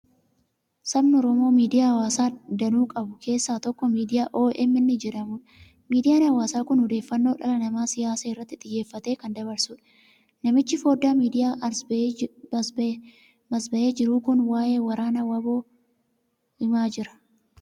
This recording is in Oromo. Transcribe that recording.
Sabni Oromoo miidiyaa hawaasaa danuu qabu keessaa tokko Miidiyaa OMN jedhamudha. Miidiyaan hawaasaa kun odeeffannoo dhimma siyaasaa irratti xiyyeeffate kan dabarsudha. Namichi foddaa miidiyaadhaan as ba'ee jiru kun waa'ee waraana WBO himaa jira.